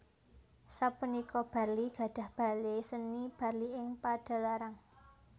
Sapunika Barli gadhah Bale Seni Barli ing Padalarang